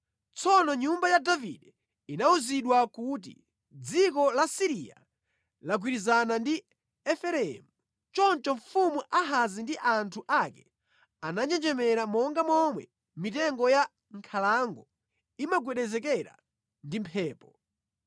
Tsono nyumba ya Davide inawuzidwa kuti, “Dziko la Siriya lagwirizana ndi Efereimu.” Choncho mfumu Ahazi ndi anthu ake ananjenjemera, monga momwe mitengo ya mʼnkhalango imagwedezekera ndi mphepo.